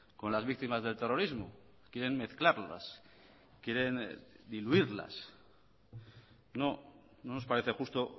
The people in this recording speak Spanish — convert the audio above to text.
con las víctimas del terrorismo quieren mezclarlas quieren diluirlas no nos parece justo